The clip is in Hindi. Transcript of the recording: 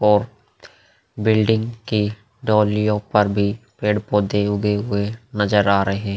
और बिल्डिंग की डोलियों पर भी पेड़ पौधे उगे हुए नजर आ रहे --